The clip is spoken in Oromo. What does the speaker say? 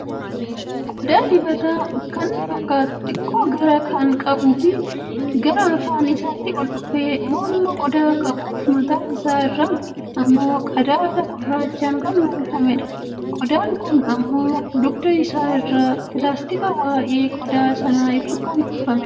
Qooda diibata kan fakkatu, xiqqoo garaa kan qabu fi gara afaan isaatti ol dhufee mormaa qodaa qabuuf, mataan isa irran ammoo, qadaada gurraachan kan uuwwifamedha. Qoodan kun ammo, dugda isaa irraa pilaastikaa waa'ee qodaa sana ibsuun kan uuwwifamedha.